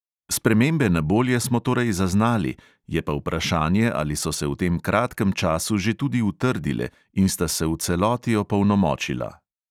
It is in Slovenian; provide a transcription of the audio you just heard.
Spremembe na bolje smo torej zaznali, je pa vprašanje, ali so se v tem kratkem času že tudi utrdile in sta se v celoti opolnomočila.